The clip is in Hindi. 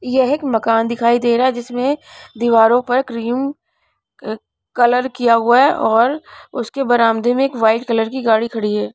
यह एक मकान दिखाई दे रहा है जिसमें दीवारों पर क्रीम क कलर किया हुआ है और उसके बरामदे में एक वाइट कलर की गाड़ी खड़ी है.